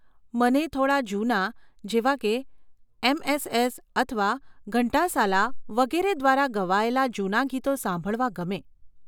મને થોડાં જૂના, જેવાં કે એમએસએસ અથવા ઘંટાસાલા વગેરે દ્વારા ગાવયેલાં જૂનાં ગીતો સાંભળવાં ગમે.